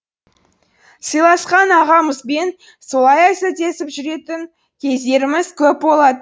сыйласқан ағамызбен солай әзілдесіп жүретін кездеріміз көп бола